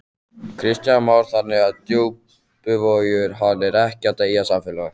Kristján Már: Þannig að Djúpivogur, hann er ekkert deyjandi samfélag?